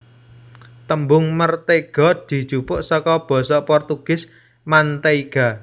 Tembung mertéga dijupuk saka basa Portugis manteiga